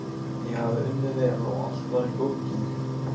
Ég hafði unnið vel og allt var í góðum gír.